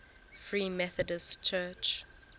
free methodist church